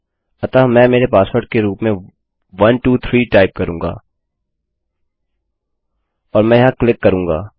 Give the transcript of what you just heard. अतः मैं मेरे पासवर्ड के रूप में 123 टाइप करूँगा और मैं यहाँ क्लिक करूँगा